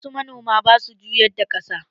Wasu manoman basu juyar da ƙasa